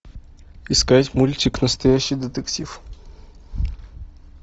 искать мультик настоящий детектив